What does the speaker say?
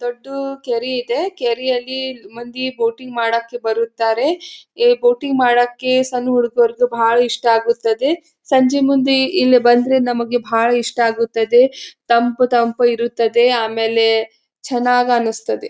ದೊಡ್ಡು ಕೆರೆ ಇದೆ ಕೆರೆಯಲ್ಲಿ ಮಂದಿ ಬೋಟಿಂಗ್ ಮಾಡಕ್ಕೆ ಬರುತ್ತಾರೆ ಏ ಬೋಟಿಂಗ್ ಮಾಡಕ್ಕೆ ಸಣ್ಣ ಹುಡುಗುರ್ಗು ಭಾಳ ಇಷ್ಟ ಆಗುತ್ತದೆ ಸಂಜಿ ಮುಂದಿ ಇಲ್ಲಿ ಬಂದ್ರೆ ನಮಗೆ ಬಹಳ್ ಇಷ್ಟ ಆಗುತ್ತದೆ ತಂಪು ತಂಪು ಇರುತ್ತದೆ ಆಮೇಲೆ ಚನ್ನಾಗನ್ನಸ್ತದೆ.